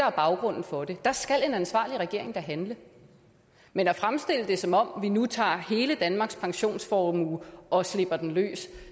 er baggrunden for det der skal en ansvarlig regering da handle men at fremstille det som om vi nu tager hele danmarks pensionsformue og slipper den løs